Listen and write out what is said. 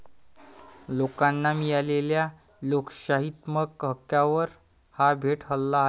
लोकांना मिळालेल्या लोकशाहीत्मक हक्कावर हा थेट हल्ला आहे.